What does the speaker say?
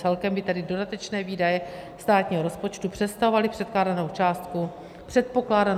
Celkem by tedy dodatečné výdaje státního rozpočtu představovaly předpokládanou částku 853 milionů korun.